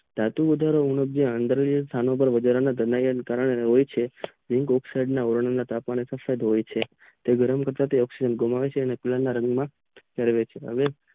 ધાતુ વધારા થવાથી અત્રિનીય વધારો થવાથી હોય છે વલણ વોવાથી હોય છે અને તેવો ફૂર રાગના હોય છે